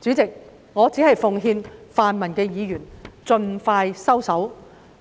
主席，我奉勸泛民議員盡快收手，